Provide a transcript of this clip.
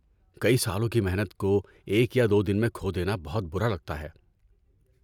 کئی سالوں کی محنت کو ایک یا دو دن میں کھو دینا بہت برا لگتا ہے۔